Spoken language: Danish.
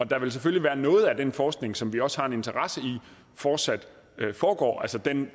der vil selvfølgelig være noget af den forskning som vi også har en interesse i fortsat foregår altså den